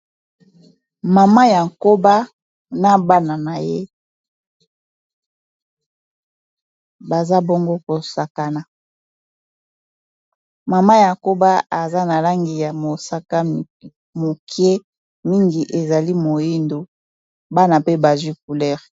Mama ya nkoba na bana na ye baza bongo kosakana mama ya nkoba eza na langi ya mosaka mokie mingi ezali moyindo bana pe bazwi coulere.